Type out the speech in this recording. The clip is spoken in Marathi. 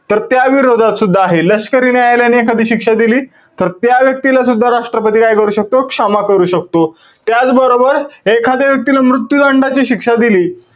तर त्या विरोधात सुद्धा आहे. लष्करी न्यायालयाने एखादी शिक्षा दिली. तर त्या व्यक्तीला सुद्धा राष्ट्रपती काय करू शकतो? क्षमा करू शकतो. त्याचबरोबर एख्याद्या व्यक्तीला मृत्युदंडाची शिक्षा दिली,